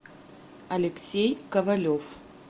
алексей ковалев